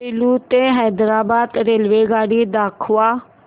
सेलू ते हैदराबाद रेल्वेगाडी दाखवा